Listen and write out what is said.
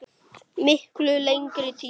Miklu lengri tíma.